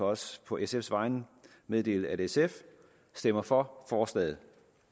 også på sfs vegne meddele at sf stemmer for forslaget